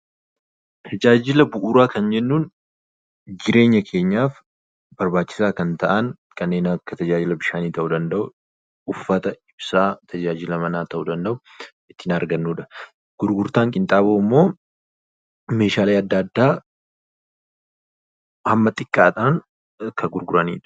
Tajaajila bu'uura kan jennun jireenya keenyaaf barbaachisa kan ta'an kanneen akka tajaajila bishaanii ta'u danda'uu, uffata, ibsa, tajaajila Mana ta'u danda'u ittin argannudha. gurgurtaan qinxaaboommo meeshaalee addaa, adda hamma xiqqaadhan kan gurguranidha.